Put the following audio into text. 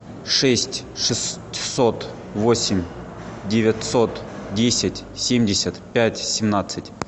шесть шестьсот восемь девятьсот десять семьдесят пять семнадцать